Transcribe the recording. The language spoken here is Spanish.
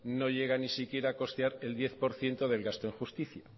no llega ni siquiera a costear el diez por ciento del gasto en justicia